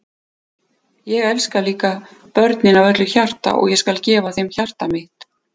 Ég elska líka börnin af öllu hjarta og ég skal gefa þeim hjarta mitt.